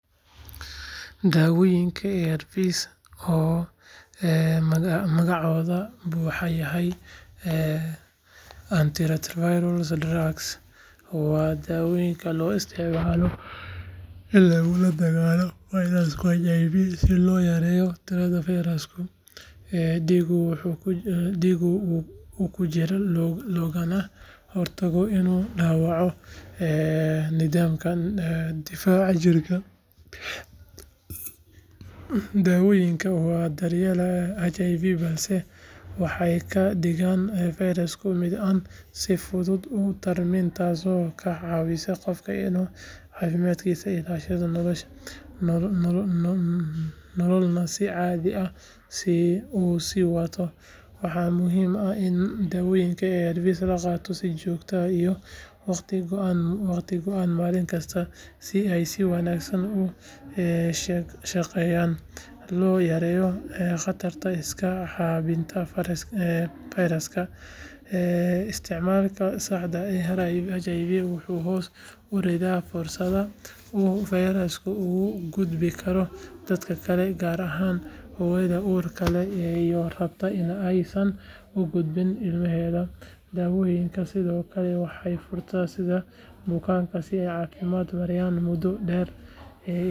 Daawooyinka ARVs oo magacooda buuxa yahay antiretroviral drugs waa daawooyin loo isticmaalo in lagula dagaallamo fayraska HIV si loo yareeyo tirada fayraska dhiigga ku jira loogana hortago inuu dhaawaco nidaamka difaaca jirka. Daawooyinkan ma daweeyaan HIV balse waxay ka dhigaan fayraska mid aan si fudud u tarmin taasoo ka caawisa qofka inuu caafimaadkiisa ilaashado nololna si caadi ah u sii wato. Waxaa muhiim ah in daawooyinka ARVs la qaato si joogto ah iyo wakhti go’an maalin kasta si ay si wanaagsan u shaqeeyaan loona yareeyo khatarta iska caabbinta fayraska. Isticmaalka saxda ah ee ARVs wuxuu hoos u dhigaa fursadda uu fayrasku ugu gudbi karo dadka kale gaar ahaan hooyada uurka leh ee rabta in aysan u gudbin ilmaheeda. Daawooyinkani sidoo kale waxay fursad siiyaan bukaanka in ay caafimaadkooda maareeyaan muddo dheer iyagoo wata nolol tayo leh. ARVs waxay astaan u yihiin horumar caafimaad iyo fursad rajo leh oo lagu xakameeyo HIV gudaha bulshada.